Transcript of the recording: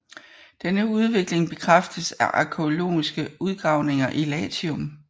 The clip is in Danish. Denne udvikling bekræftes af arkæologiske udgravninger i Latium